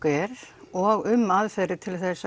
er og um aðferðir til